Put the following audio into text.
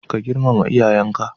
Ka girmama iyayan ka